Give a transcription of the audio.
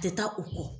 Tɛ taa u kɔ